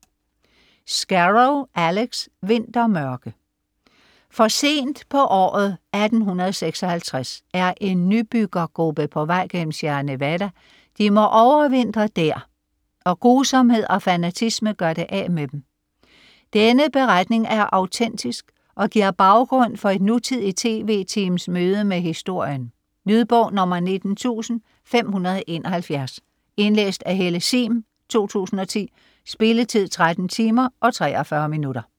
Scarrow, Alex: Vintermørke For sent på året 1856 er en nybyggergruppe på vej gennem Sierra Nevada, de må overvintre der, og grusomhed og fanatisme gør det af med dem. Denne beretning er autentisk og giver baggrund for et nutidigt TV-teams møde med historien. Lydbog 19571 Indlæst af Helle Sihm, 2010. Spilletid: 13 timer, 43 minutter.